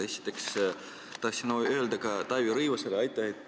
Esiteks tahtsin öelda Taavi Rõivasele aitäh.